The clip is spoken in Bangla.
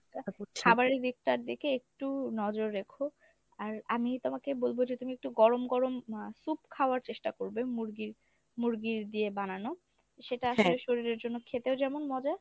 খাবারের দিকটার দিকে একটু নজর রেখো। আর আমি তোমাকে বলবো যে তুমি একটু গরম গরম আহ soup খাওয়ার চেষ্টা করবে মুরগি মুরগির দিয়ে বানানো। সেটা আসলে শরীরের জন্যে খেতেও যেমন মজা